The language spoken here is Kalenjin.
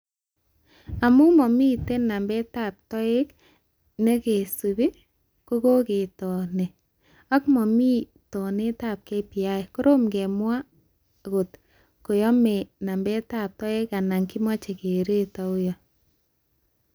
Amu mamiten nambetab toek nekesub koketoni ak mami tonetab KPI, korom kemwa ngot koyame nambetab toek anan kimache keret auyo